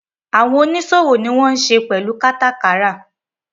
Àwọn oníṣòwò ni wọ́n ń se pẹ̀lú kátàkárà.